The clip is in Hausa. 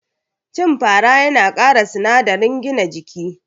Cin fara yana kara sinadarin gina jiki